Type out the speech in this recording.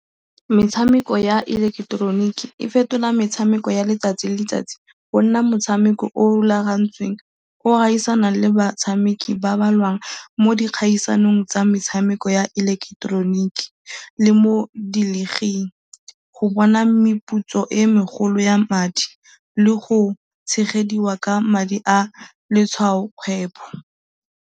Metshameko ya ileketeroniki e fetola metshameko ya letsatsi le letsatsi go nna motshameko o o rulagantsweng, o o gaisanang le batshameki ba ba lwang mo dikgaisanong tsa metshameko ya ileketeroniki, le mo dilliging, go bona meputso e e megolo ya madi le go tshegediwa ka madi a letshwaokgwebo.